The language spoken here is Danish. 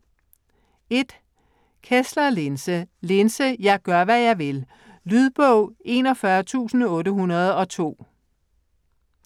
Kessler, Linse: Linse - jeg gør, hvad jeg vil Lydbog 41802